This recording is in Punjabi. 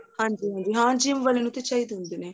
ਹਾਂਜੀ ਹਾਂ gym ਵਾਲਿਆਂ ਨੂੰ ਤਾਂ ਚਾਹੀਦੇ ਹੁੰਦੇ ਨੇ